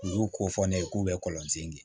U y'u ko fɔ ne ye k'u bɛ kɔlɔn sen di